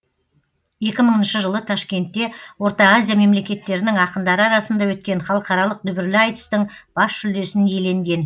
екі мыңыншы жылы ташкентте орта азия мемлекеттерінің ақындары арасында өткен халықаралық дүбірлі айтыстың бас жүлдесін иеленген